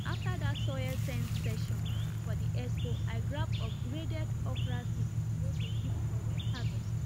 after that soil sense session for the expo i grab upgraded okra seed wey go correct harvest